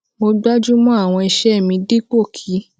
mo gbájú mọ àwọn iṣẹ mi dípò kí